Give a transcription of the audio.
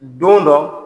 Don dɔ